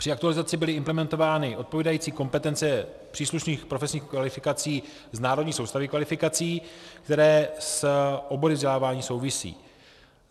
Při aktualizaci byly implementovány odpovídající kompetence příslušných profesních kvalifikací z národní soustavy kvalifikací, které s obory vzdělávání souvisí.